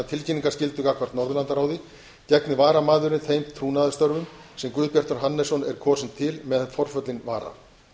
tilkynningarskyldu gagnvart norðurlandaráði gegni varaþingmaðurinn þeim trúnaðarstörfum sem guðbjartur hannesson er kosinn til meðan forföllin vara